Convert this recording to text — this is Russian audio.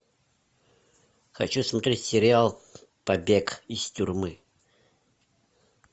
хочу смотреть сериал побег из тюрьмы